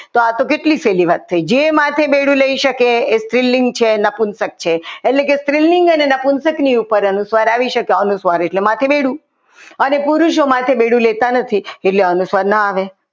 તો આ તો કેટલી સહેલી વાત થઈ જે માથે બેડું લઈ શકે તે સ્ત્રીલિંગ છે નપુન સદ છે એટલે કે સ્ત્રીલિંગની કે શકની ઉપર અનુસ્વાર આવે આવી શકે અનુસ્વાર એટલે માથે બેડું અને પુરુષો માથે બેડું લેતા નથી એટલે અનુસ્વાર ન આવે.